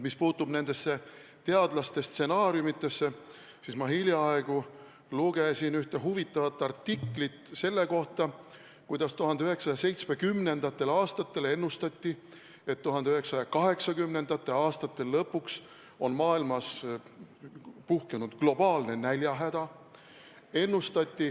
Mis puutub teadlaste stsenaariumidesse, siis ma hiljaaegu lugesin ühte huvitavat artiklit selle kohta, et 1970. aastatel ennustati, et 1980. aastate lõpuks on maailma tabanud globaalne näljahäda.